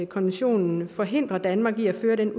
konventionen forhindrer danmark i at føre den